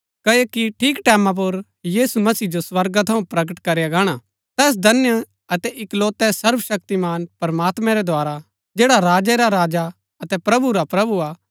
क्ओकि ठीक टैमां पुर यीशु मसीह जो स्वर्गा थऊँ प्रकट करया गाणा तैस धन्य अतै इकलोतै सर्वशक्तिमान प्रमात्मैं रै द्धारा जैड़ा राजै रा राजा अतै प्रभु रा प्रभु हा